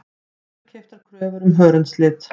Dýrkeyptar kröfur um hörundslit